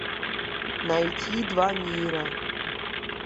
найти два мира